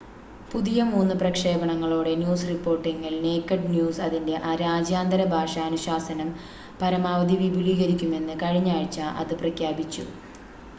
പുതിയ മൂന്ന് പ്രക്ഷേപണങ്ങളോടെ ന്യൂസ് റിപ്പോർട്ടിംഗിൽ നേകഡ് ന്യൂസ് അതിൻ്റെ രാജ്യാന്തര ഭാഷ അനുശാസനം പരമാവധി വിപുലീകരിക്കുമെന്ന് കഴിഞ്ഞാഴ്ച അത് പ്രഖ്യാപിച്ചു